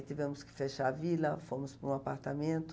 tivemos que fechar a vila, fomos para um apartamento.